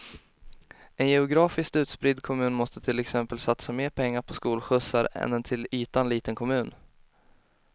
En geografiskt utspridd kommun måste till exempel satsa mer pengar på skolskjutsar än en till ytan liten kommun.